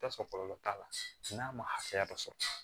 I bi taa sɔrɔ kɔlɔlɔ t'a la n'a ma hakɛya dɔ sɔrɔ